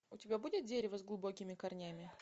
у тебя будет дерево с глубокими корнями